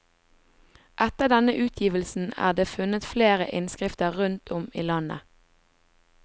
Etter denne utgivelsen er det funnet flere innskrifter rundt om i landet.